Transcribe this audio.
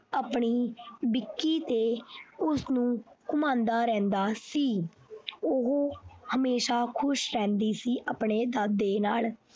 ਆਪਣੀ ਤੇ ਉਸਨੂੰ ਘੁਮਾਉਂਦਾ ਰਹਿੰਦਾ ਸੀ ਉਹ ਹਮੇਸ਼ਾ ਖੁਸ਼ ਰਹਿੰਦੀ ਸੀ ਆਪਣੇ ਦਾਦੇ ਨਾਲ।